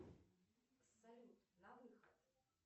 салют на выход